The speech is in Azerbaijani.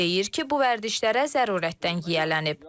Deyir ki, bu vərdişlərə zərurətdən yiyələnib.